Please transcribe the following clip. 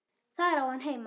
Þar á hann heima.